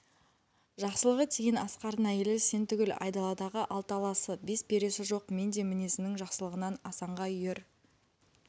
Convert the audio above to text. жақсылығы тиген асқардың әйелі сен түгіл айдаладағы алты аласы бес бересі жоқ мен де мінезінің жақсылығынан асанға үйір